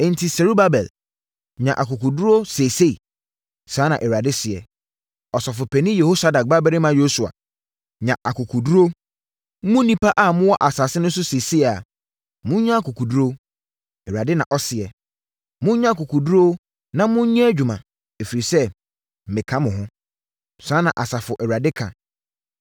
Enti, Serubabel, nya akokoɔduru seesei.’ Saa na Awurade seɛ, ‘Ɔsɔfopanin Yehosadak babarima Yosua, nya akokoɔduru. Mo nnipa a mowɔ asase no so seesei no, monnya akokoɔduru. Awurade na ɔseɛ. Monnya akokoɔduru na monnyɛ adwuma, ɛfiri sɛ, meka mo ho.’ Saa na Asafo Awurade ka.